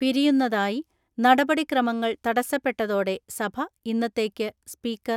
പിരിയുന്നതായി നടപടിക്രമങ്ങൾ തടസ്സപ്പെട്ടതോടെ സഭ ഇന്നത്തേയ്ക്ക് സ്പീക്കർ